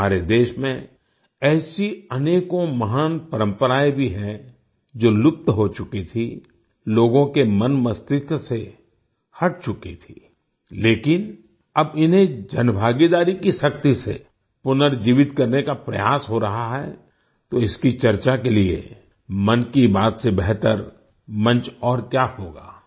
हमारे देश में ऐसी अनेकों महान परम्पराएँ भी हैं जो लुप्त हो चुकी थी लोगों के मनमस्तिष्क से हट चुकी थी लेकिन अब इन्हें जनभागीदारी की शक्ति से पुनर्जीवित करने का प्रयास हो रहा है तो इसकी चर्चा के लिए मन की बात से बेहतर मंच और क्या होगा